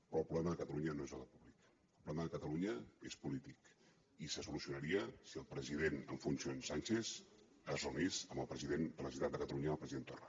però el problema de catalunya no és d’ordre públic el problema de catalunya és polític i se solucionaria si el president en funcions sánchez es reunís amb el president de la generalitat de catalunya el president torra